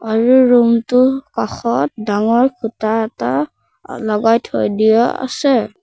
আৰু ৰুমটোৰ কাষত ডাঙৰ খুঁটা এটা লগাই থৈ দিয়া আছে।